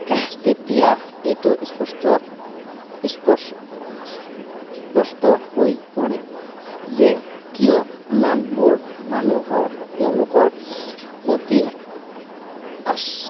তেতিয়া এইটো স্পষ্ট, স্প স্পষ্ট হৈ পৰে যে, কিয় ইমানবোৰ মানুহৰ তেওঁলোকৰ প্ৰতি আহ